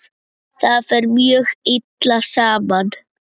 Það fer mjög illa saman.